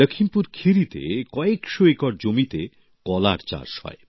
লখিমপুর খেরিতে কয়েকশো একর জমিতে কলার চাষ হয়